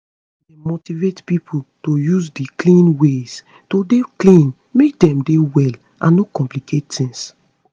dem motivate pipo to use di clean ways to dey clean make dem dey well and no complicate tings